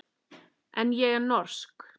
En ég er norsk.